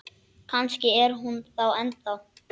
Kannski er hún það ennþá.